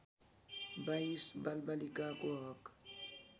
२२ बालबालिकाको हक